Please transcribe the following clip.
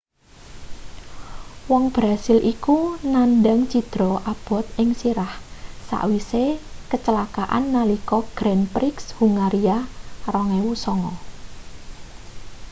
wong brazil iku nandhang cidra abot ing sirah sawise kecelakaan nalika grand prix hungaria 2009